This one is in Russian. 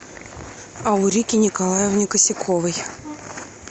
аурике николаевне косяковой